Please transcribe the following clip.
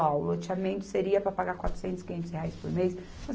Ó, o loteamento seria para pagar quatrocentos, quinhentos por mês.